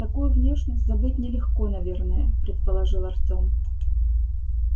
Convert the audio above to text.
такую внешность забыть нелегко наверное предположил артем